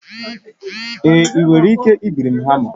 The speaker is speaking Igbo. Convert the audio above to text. Ee, ị nwere ike ibiri hama m